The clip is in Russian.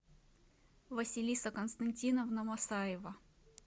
василиса константиновна масаева